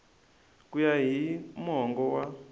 ku ya hi mongo wa